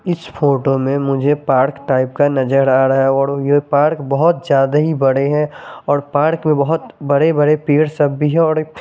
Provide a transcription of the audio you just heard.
इस फोटो में मुझे पार्क टाइप का नज़र आ रहा है ये पार्क बहुत ज्यादा ही बड़े हैं और पार्क में बहुत बड़े बड़े पेड़ सब भी हैं और एक--